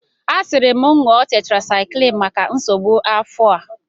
A siri m ṅụọ tetrasaiklin maka nsogbu afọ a.